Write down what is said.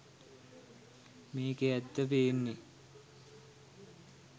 මේකෙ ඇත්ත පේන්නෙ.